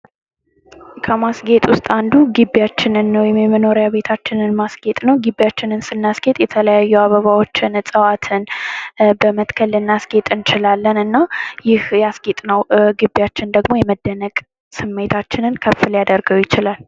ከማስጌጥ ውስጥ አንዱ ግቢያችንን ወይም መኖሪያ ቤታችንን ማስጌጥ ነው። ግቢያችን ስናስጌጥ የተለያዩ አበባዎችን እፅዋትን በመትከል ልናስጌጥ እንችላለን። ይህ ግቢያችንን ደግሞ የመደነቅ ስሜታችን ከፍ ሊያደርገው ይችላል።